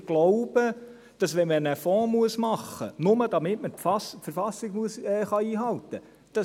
Wir glauben, dass es nicht geht, einen Fonds machen zu müssen, nur, damit man die Verfassung einhalten kann.